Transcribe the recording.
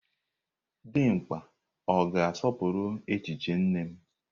Dimgba ọ ga-asọpụrụ echiche nne m?